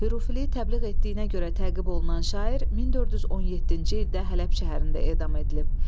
Hürfiliyi təbliğ etdiyinə görə təqib olunan şair 1417-ci ildə Hələb şəhərində edam edilib.